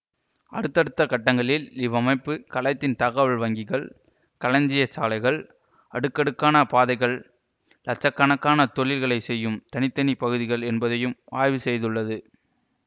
அடுத்தடுத்த கட்டங்களில் இவ்வமைப்பு கலத்தின் தகவல் வங்கிகள் களஞ்சிய சாலைகள் அடுக்கடுக்கான பாதைகள் இலட்ச கணக்கான தொழில்களை செய்யும் தனி தனி பகுதிகள் என்பதையும் ஆய்வு செய்துள்ளது